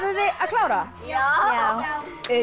þið að klára já